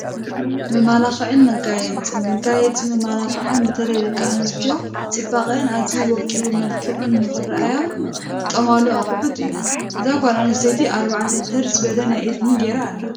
መመላኽዕን መጋየፅን፡- መጋየፅን መመላኽዕን በተለይ ደቂ ኣንስትዮ ፅባቐአን ኣዝዩ ወቂቡን መልኪዑን ንኽራኣያ ዝጥቀማሉ ኣቕሑት እዩ፡፡ እዛ ጓል ኣነስተይቲ 4 ተር ዝበለ ናይ እዝኒ ገይራ ኣላ፡፡